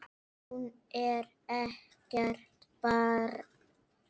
Hún er ekkert barn.